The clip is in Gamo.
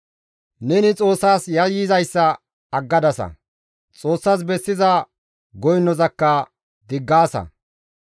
Neni Xoossas yayyizayssa aggadasa; Xoossas bessiza goynnozakka diggaasa.